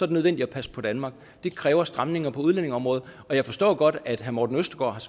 det nødvendigt at passe på danmark det kræver stramninger på udlændingeområdet og jeg forstår godt at herre morten østergaard